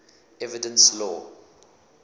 evidence law